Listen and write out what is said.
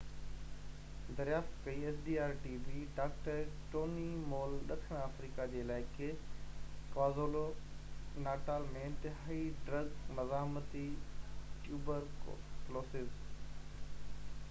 doctor Tony Moll ڏکڻ آفريقا جي علائقي ڪوازولو-ناٽال ۾ انتهائي ڊرگ مزاحمتي ٽيوبر ڪلوسز xdr-tb دريافت ڪئي